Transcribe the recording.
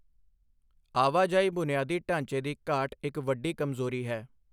ਆਵਾਜਾਈ ਬੁਨਿਆਦੀ ਢਾਂਚੇ ਦੀ ਘਾਟ ਇੱਕ ਵੱਡੀ ਕਮਜ਼ੋਰੀ ਹੈ।